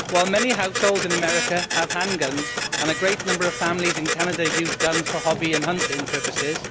Many households in America have handguns and a great number of families in Canada use guns for hobby and hunting purposes.